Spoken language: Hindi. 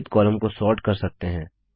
विविध कॉलम को सोर्ट कर सकते है